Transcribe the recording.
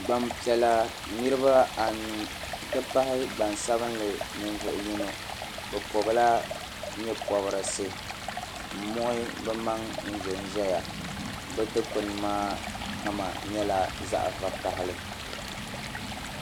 Gba'piɛla niriba anu nti pahi gba'sabili ninvuɣ'yino o bɔbila nyɛbɔrisi n muɣi bɛ maŋ ʒi ʒiya bɛ digbuni maa kama nyɛla zaɣ'vakahili.